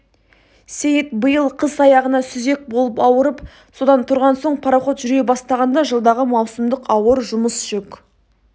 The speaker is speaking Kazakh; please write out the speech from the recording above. сейіт биыл қыс аяғына сүзек болып ауырып содан тұрған соң пароход жүре бастағанда жылдағы маусымдық ауыр жұмыс жүк